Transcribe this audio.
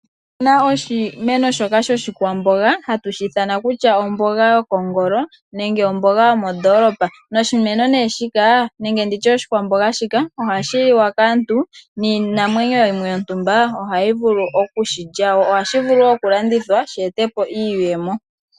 Otuna oshimeno shoka shoshikwamboga hatu shi ithana kutya omboga yokongolo nenge omboga yomondoolopa, oshimeno shika nenge oshikwamboga shika ohashi liwa kaantu niinamwenyo yimwe yontumba ohayi vulu okushilya wo. Ohashi vulu wo okulandithwa shi ete po iiyemo.